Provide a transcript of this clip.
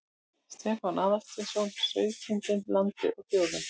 Stefán Aðalsteinsson: Sauðkindin, landið og þjóðin.